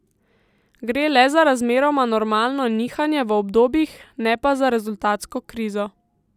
Gre le za razmeroma normalno nihanje v obdobjih, ne pa za rezultatsko krizo.